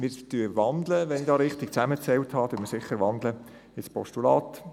Wir wandeln – wenn ich hier richtig zusammengezählt habe –, sicher in ein Postulat.